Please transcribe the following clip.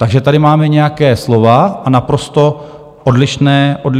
Takže tady máme nějaké slova a naprosto odlišné činy.